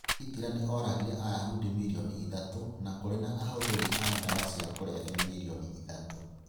"Hitler nĩ oragire Ayahudi milioni ithatũ... na kũrĩ na abuthiri a ndawa cia kũrebia milioni ithatũ.